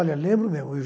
Olha, lembro mesmo.